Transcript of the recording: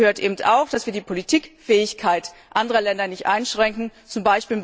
Dazu gehört eben auch, dass wir die Politikfähigkeit anderer Länder nicht einschränken, z.